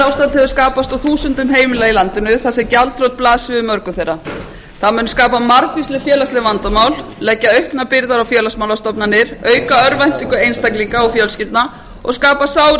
hefur skapast á þúsundum heimila í landinu auk þess sem gjaldþrot blasir við mörgum þeirra það mun skapa margvísleg félagsleg vandamál leggja auknar byrðar á félagsmálastofnanir auka örvæntingu einstaklinga og fjölskyldna og skapa sár í